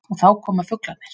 Og þá koma fuglarnir.